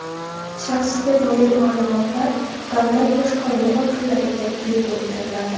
Shaxsga doir ma’lumotlar davlat boshqaruvi organlariga bepul beriladi.